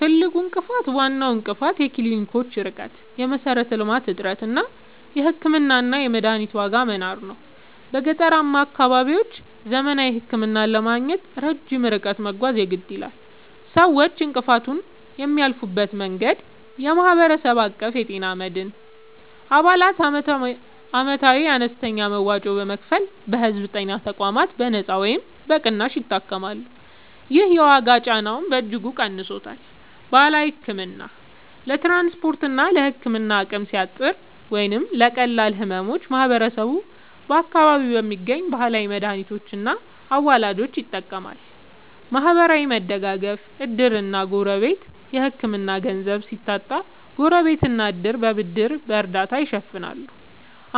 ትልቁ እንቅፋት፦ ዋናው እንቅፋት የክሊኒኮች ርቀት (የመሠረተ-ልማት እጥረት) እና የሕክምናና የመድኃኒት ዋጋ መናር ነው። በገጠራማ አካባቢዎች ዘመናዊ ሕክምና ለማግኘት ረጅም ርቀት መጓዝ የግድ ይላል። ሰዎች እንቅፋቱን የሚያልፉበት መንገድ፦ የማህበረሰብ አቀፍ የጤና መድን፦ አባላት ዓመታዊ አነስተኛ መዋጮ በመክፈል በሕዝብ ጤና ተቋማት በነጻ ወይም በቅናሽ ይታከማሉ። ይህ የዋጋ ጫናውን በእጅጉ ቀንሶታል። ባህላዊ ሕክምና፦ ለትራንስፖርትና ለሕክምና አቅም ሲያጥር ወይም ለቀላል ሕመሞች ማህበረሰቡ በአካባቢው በሚገኙ ባህላዊ መድኃኒቶችና አዋላጆች ይጠቀማል። ማህበራዊ መደጋገፍ (ዕድርና ጎረቤት)፦ የሕክምና ገንዘብ ሲታጣ ጎረቤትና ዕድር በብድርና በእርዳታ ይሸፍናሉ፤